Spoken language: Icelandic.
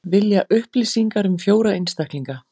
Vilja upplýsingar um fjóra einstaklinga